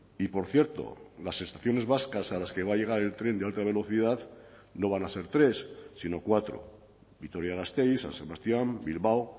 y por cierto las estaciones vascas a las que va a llegar el tren de alta velocidad no van a ser tres sino cuatro vitoria gasteiz san sebastián bilbao